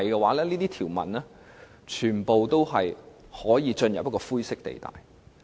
否則，這些條文全都會出現灰色地帶。